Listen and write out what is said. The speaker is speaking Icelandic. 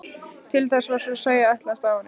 Til þess var svo að segja ætlast af honum.